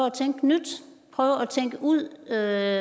at tænke nyt prøver at tænke ud af